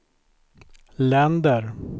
länder